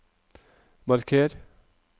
marker